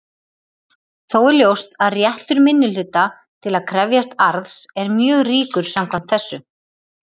Þó er ljóst að réttur minnihluta til að krefjast arðs er mjög ríkur samkvæmt þessu.